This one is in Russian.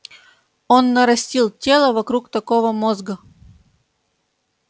он нарастил тело вокруг такого мозга